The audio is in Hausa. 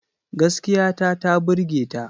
Gaskiya ta ta burge ta.